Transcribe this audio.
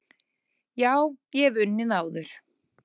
Já, ég hef unnið áður.